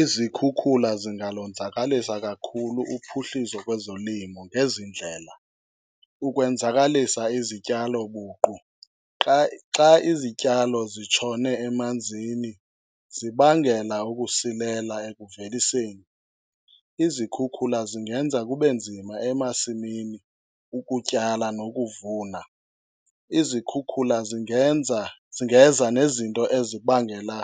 Izikhukhula zingalonzakalisa kakhulu uphuhliso kwezolimo ngezi ndlela, ukwenzakalisa izityalo buqu. Xa izityalo zitshone amanzini zibangela ukusilela ekuveliseni. Izikhukhula zingenza kube nzima emasimini ukutyala nokuvuna. Izikhukhula zingenza, zingeza nezinto ezibangela